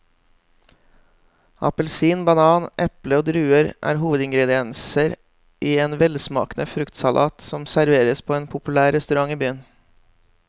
Appelsin, banan, eple og druer er hovedingredienser i en velsmakende fruktsalat som serveres på en populær restaurant i byen.